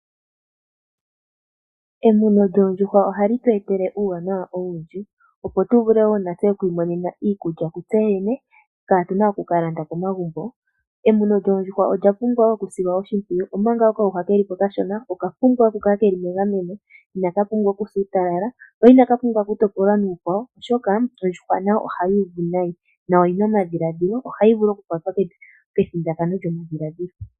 Emuno lyoondjuhwa ohali tu etele uuwanawa owundji opo tu vule wo natse oku imonena iikulya kutse yene, kaatuna oku ka landa komagumbo. Emuno lyoondjuhwa olya pumbwa woo okusilwa oshimpwiyu, omanga okayuhwa keli ko okashona oka pumbwa oku kala keli megameno, inaka pumbwa okusa uutalala ko inaka pumbwa okutopolwa nuukwawo oshoka ondjuhwa nayo ohayi uvu nayi na oyi na omadhiladhilo, ohayi vulu okukwatwa kethindakano lyomadhiladhilo.